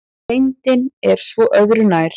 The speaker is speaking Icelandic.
Reyndin er svo öðru nær.